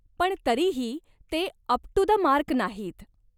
पण तरीही ते अप टू द मार्क नाहीत.